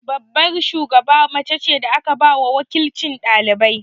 Babbar shugaba mace ce da aka ba wa waƙilcin ɗalibai.